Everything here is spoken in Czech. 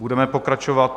Budeme pokračovat...